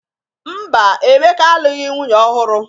Mba, Emeka alụghị nwunye ọhụrụ.